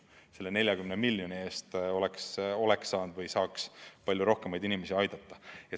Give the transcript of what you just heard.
Selle 40 miljoni eest oleks saanud või saaks palju rohkemaid inimesi aidata.